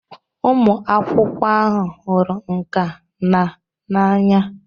Ụmụ akwụkwọ ahụ hụrụ nka na n'anya.